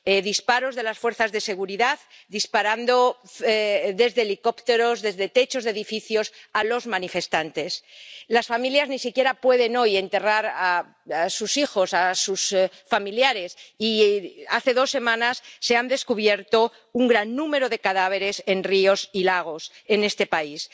Disparos de las fuerzas de seguridad, disparando desde helicópteros, desde techos de edificios, a los manifestantes. Las familias ni siquiera pueden hoy enterrar a sus hijos, a sus familiares y hace dos semanas se ha descubierto un gran número de cadáveres en ríos y lagos en ese país.